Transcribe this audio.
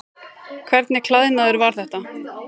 Hvernig klæðnaður var þetta?